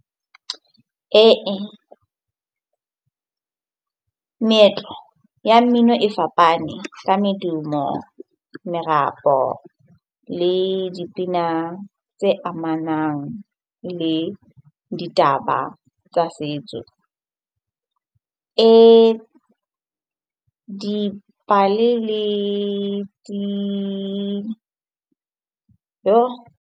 Ee meetlo ya mmino e fapane ka medumo, merapo le dipina tse amanang le ditaba tsa setso e dipale le .